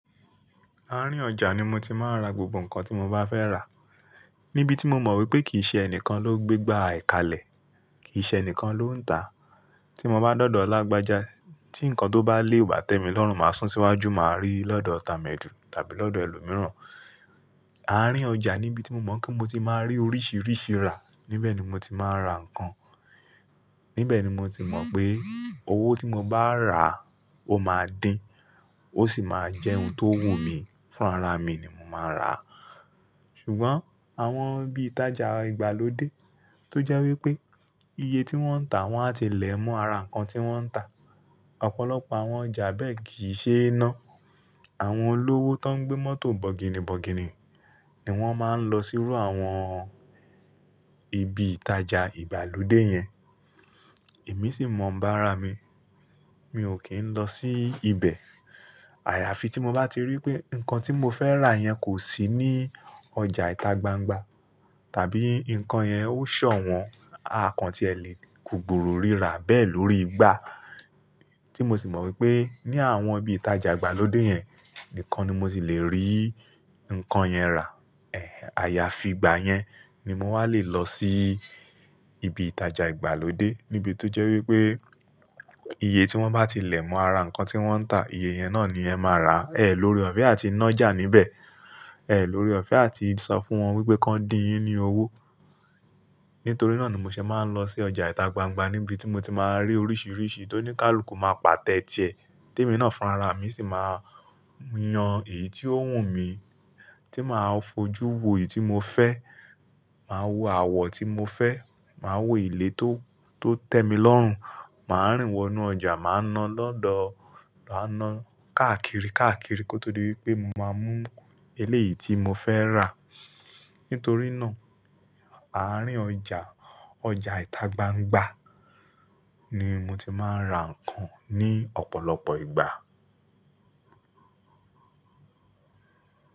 Àárín ọjà ni mo ti máa ń ra gbogbo nǹkan tí mo bá fẹ́ rà. Níbí tí mo mọ̀ pé kì í ṣe ẹnìkan ló gbégbá e kalẹ̀, kì í ṣe ẹnìkan ló ń tà. Ti mo bá dódọ̀ lágbájá tí nǹkan tó bá lé o bà tẹ́mi lọ́rùn, màá sún síwájú, màá rí lọ́dọ̀ tà médu tàbí lọ́dọ̀ ẹlòmíràn. Àárín ọjà níbí tí mo mọ̀ pé mo ti máa rí oríṣiríṣi rà, níbẹ̀ ni mo ti máa ra nǹkan. Níbẹ̀ ni mo ti mọ̀ pé owó tí mo bá rà ó máa dín, ó sì máa jẹ́ ohun tó wù mi. Fún ara mi ni mo máa rà. Sùgbọ́n àwọn ibi ìtajà ìgbàlódé tó jẹ́ wipé iye tí wọ́n ń tà, wọ́n á ti lẹ̀ mọ́ ara nǹkan tí wọ́n ń tà. Ọ̀pọ̀lọpọ̀ àwọn ọjà bẹ́ẹ̀ kì í ṣe iná. Àwọn olówó tó ń gbé mọ́tò bọ̀gìnìbọ̀gìnì ni wọ́n máa ń lọ sírú àwọn ibi ìtajà ìgbàlódé yẹn. Èmi sì mọ̀ báràá mi, mi ò kí ń lọ sí ibẹ̀. Àyàfi tí mo bá ti rí pé nǹkan tí mo fẹ́ rà yẹn kò sí ní ọjà ìtagbangba tàbí nǹkan yẹn ó ṣọ̀wọ́n, à kan tí ẹ lè kugbúru rírà bẹ́ẹ̀ lórí igba. Ti mo sì mọ̀ pé ní àwọn ibi ìtajà ìgbàlódé yẹn nìkan ni mo ti lè rí nǹkan yẹn rà, ẹ̀ ayàfi ìgbà yẹn ni mo wà lé lọ sí ibi ìtajà ìgbàlódé. Níbí tó jẹ́ wipé iye tí wọ́n bá ti lẹ̀ mọ́ ara nǹkan tí wọ́n ń tà, iye yẹn ní ẹ̀ máa rà. Ẹ̀ lórí ọ̀fẹ́ á ti nọ́ jà níbẹ̀. Ẹ̀ lóré ọ̀fẹ́ á ti sọ fún wọn pé kọ́ dín yín ní owó. Nítorí náà ni mo ṣẹ máa ń lọ sí ọjà ìtagbangba níbi tí mo ti máa rí oríṣiríṣi tó ní kálù kó máa pàtẹ tiẹ̀. Tí èmi náà fun ara mi sì máa yan èyí tí ó wù mi, tí máa fojú wo èyí tí mo fẹ́, mà á wo àwọ̀ tí mo fẹ́, mà á wo ìlé tó tẹ́mi lọ́rùn, mà á rìn wọ inú ọjà, mà á ná lọ́dọ̀, mà á ná káàkiri káàkiri kó tó dí pé mo máa mú eléyìí tí mo fẹ́ rà. Nítorí náà, àárín ọjà, ọjà ìtagbangba ni mo ti máa ń ra nǹkan ní ọ̀pọ̀lọpọ̀ ìgbà.